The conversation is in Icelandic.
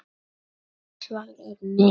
Hvað nýtist hún lengi?